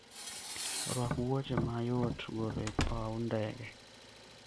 Rwak wuoche ma yot golo e paw ndege.